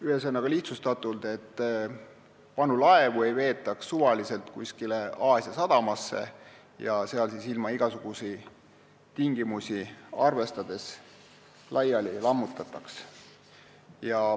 Ühesõnaga, lihtsustatult, et vanu laevu ei veetaks suvaliselt kusagile Aasia sadamasse ja seal siis ilma igasuguseid tingimusi arvestamata laiali ei lammutataks.